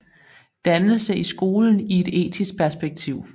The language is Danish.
Dannelse i skolen i et etisk perspektiv